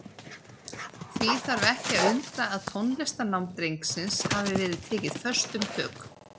Því þarf ekki að undra að tónlistarnám drengsins hafi verið tekið föstum tökum.